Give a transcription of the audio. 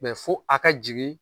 fo ka jigin